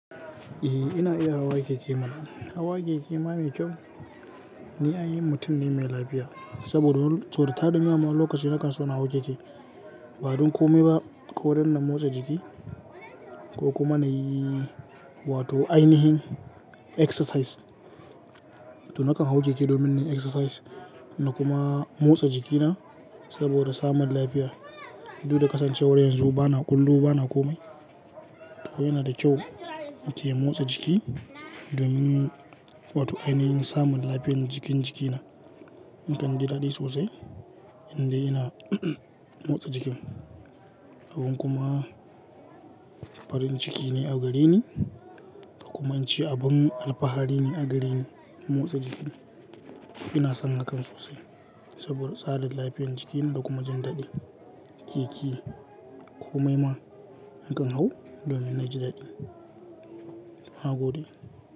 Eh ina iya hawa keke mana. Hawa keke ma mai kyau, ni ainihin mutum ne mai lafiya saboda tarin yawa ma lokacin nakan so na hau keke ba don komai ba ko don na motsa jiki ko kuma na yi wato ainihin exercise. To nakan hau keke domin nayi exercise na kuma motsa jikina saboda samun lafiya. Du da kasancewar yanzu ba na ƙullu ba na komai. To yana da kyau mutum ya motsa jiki domin wato ainihin samun lafiyar jikin jikina nakan ji daɗi sosai idan ina motsa jikin. Abin kuma farin ciki ne a gareni kuma inci abin alfahari ne a gareni motsa jiki. Ina son hakan sosai saboda tsadar lafiyar jiki na kuma jin daɗi. Keke komai ma nakan hau domin naji daɗi. Nagode.